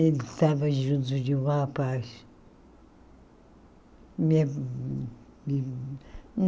Ele estava junto de um rapaz.